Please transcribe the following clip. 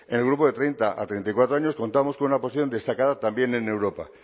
en el grupo de treinta a treinta y cuatro años contábamos con una posición destacada también en europa